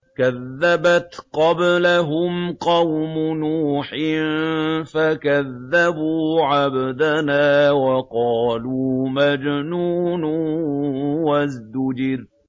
۞ كَذَّبَتْ قَبْلَهُمْ قَوْمُ نُوحٍ فَكَذَّبُوا عَبْدَنَا وَقَالُوا مَجْنُونٌ وَازْدُجِرَ